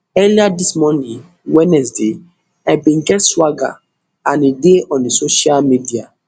earlier dis morning wednesday i bin get swagger and e dey on di social media